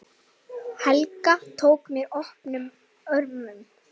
Helga tók mér opnum örmum.